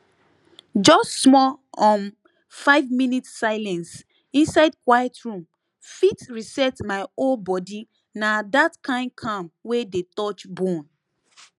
just small um five minute silence inside quiet room fit reset my whole body na that kind calm wey dey touch bone